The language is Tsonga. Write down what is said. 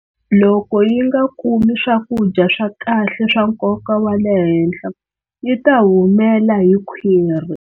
Loko yi nga kumi swakudya swa kahle swa nkoka wa le henhla yi ta humela hi khwiri.